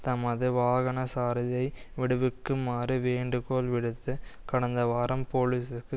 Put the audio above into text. தமது வாகன சாரதியை விடுவிக்குமாறு வேண்டுகோள் விடுத்து கடந்த வாரம் போலிசுக்கு